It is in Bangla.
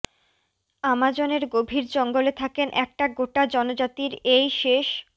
আমাজনের গভীর জঙ্গলে থাকেন একটা গোটা জনজাতির এই শেষ